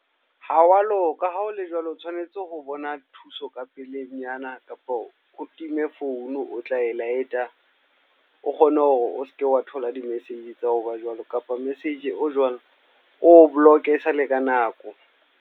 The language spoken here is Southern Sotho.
Ha wa loka, ha ho le jwalo o tshwanetse ho bona thuso ka pelenyana. Kapa o time phone o tla e light-a. O kgone hore o seke wa thola di-message tsa hoba jwalo. Kapa message o jwalo, o o block-e e sale ka nako.